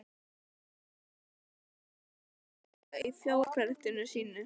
Maðurinn fór sannarlega ekki alfaraleið í fjárprettum sínum.